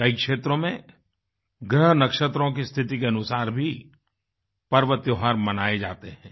कई क्षेत्रों में ग्रह नक्षत्रों की स्थिति के अनुसार भी पर्व त्योहार मनाये जाते हैं